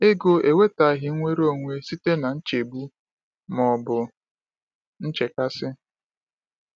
Ego ewetaghị nnwere onwe site na nchegbu ma ọ bụ nchekasị.”